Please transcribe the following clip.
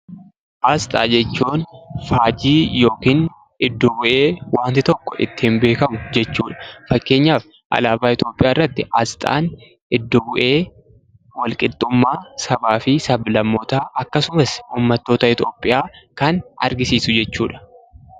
Asxaa jechuun faajjii yookiin iddoo bu'ee waanti tokko ittiin beekamu jechuudha. Fakkeenyaaf alaabaa Itoophiyaa irratti asxaan iddoo bu'ee sabaa fi sab-lammootaa, akkasumas ummattoota Itoophiyaa kan argisiisudha.